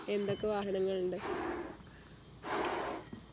എന്തൊക്കെ വാഹനങ്ങളുണ്ട്